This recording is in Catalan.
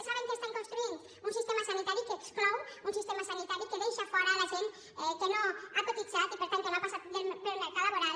saben què construeixen un sistema sanitari que exclou un sistema sanitari que deixa fora la gent que no ha cotitzat i per tant que no ha passat pel mercat laboral